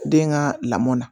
Den ka lamɔn na